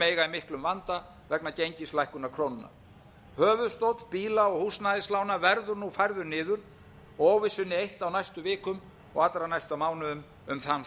eiga í miklum vanda vegna gengislækkunar krónunnar höfuðstóll bíla og húsnæðislána verður nú færður iður og óvissunni eytt á næstu vikum og allra næstu mánuðum um þann þátt